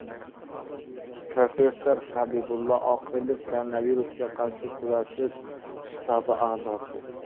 Professor Habibulla Oqilov, Koronavirusga qarshi kurashish shtabi a’zosi.